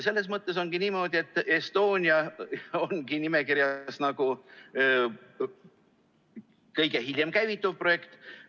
Selles mõttes on niimoodi, et Estonia ongi nimekirjas olevatest kõige hiljem käivituv projekt.